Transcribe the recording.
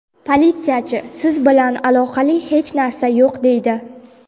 Politsiyachi "Siz bilan aloqali hech narsa yo‘q", deydi.